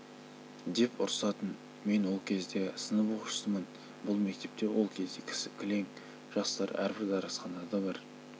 деп ұрсатын мен ол кезде сынып оқушысымын бұл мектепте ол кезде кілең жастар әрбір дәрісханада бір